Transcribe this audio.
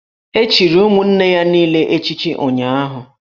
E chichiri ụmụnne ya niile echichi ụnyụahụ